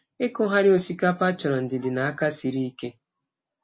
Ịkụgharị osikapa chọrọ ndidi na aka siri ike.